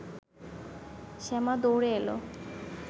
শ্যামা দৌড়ে এলো